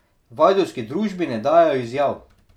V ajdovski družbi ne dajejo izjav.